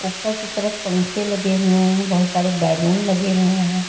ऊपर की तरफ पंखे लगे हुए हैं बहुत सारे बैलून लगे हुए हैं।